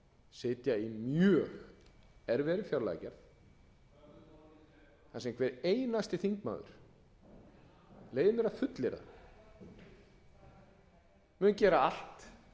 sitja í mjög erfiðri fjárlagagerð þar sem hver einasti þingmaður leyfi ég mér að fullyrða mun gera allt